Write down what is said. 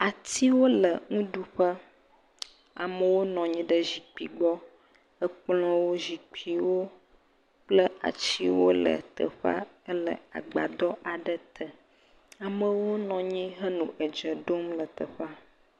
Atiwo le nuɖuƒe. Amewo nɔ anyi ɖe zikpui gbɔ. Ekplɔwo, zikpuiwo kple atsiwo le teƒea ele agbadɔ aɖe te. Amewo nɔ anyi henɔ edze ɖom le teƒea.